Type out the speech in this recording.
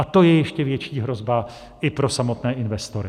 A to je ještě větší hrozba i pro samotné investory.